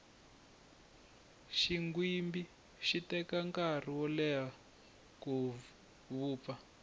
xinghwimbi xi teka nkarhi wo leya ku vupfa